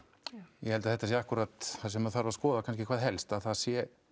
ég held að þetta sé akkúrat það sem þarf að skoða kannski hvað helst að það sé